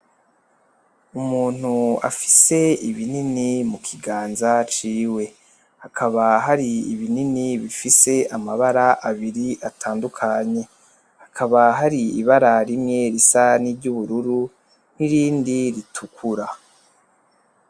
Umuntu afise ibinini mu kiganza ciwe, hakaba hari ibinini bifise amabara abiri atandukanye hakaba hari ibara rimwe risa n'iryubururu nirindi ritukura.